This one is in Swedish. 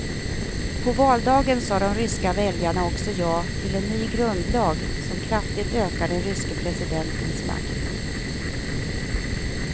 På valdagen sade de ryska väljarna också ja till en ny grundlag som kraftigt ökar den ryske presidentens makt.